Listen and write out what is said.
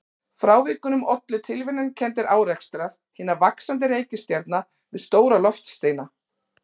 Frávikunum ollu tilviljanakenndir árekstrar hinna vaxandi reikistjarna við stóra loftsteina.